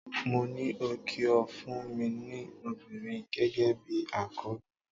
Mo ní o kí o fún mi ní obìnrin gẹ́gẹ́ bi àkọ́bí.